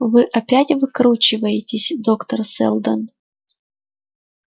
вы опять выкручиваетесь доктор сэлдон